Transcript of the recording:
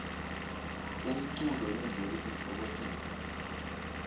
umculo yintfo yekutitfokotisa